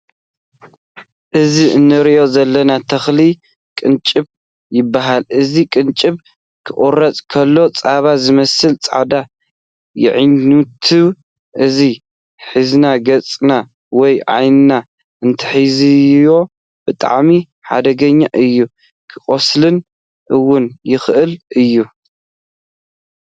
እዚ እንሪኦ ዘለና ተክሊ ቅንጭብ ይባሃል። እዚ ቅንጭብ ክቁረፅ ከሎ ፃባ ዝመስል ፃዳ ይነትዕ። እዚ ሕዝና ገፅና ወይ ዓይንና እንተሒዝናዮ ብጣዕሚ ሓደገሻ እዩ ከቁስለና እውን ይክእል እዩ።